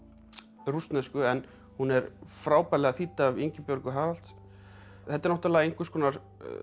rússnesku en hún er frábærlega þýdd af Ingibjörgu Haralds þetta er náttúrulega einhvers konar